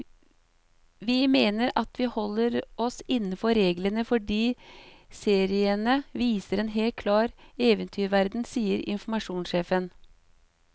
Vi mener at vi holder oss innenfor reglene, fordi seriene viser en helt klar eventyrverden, sier informasjonssjefen.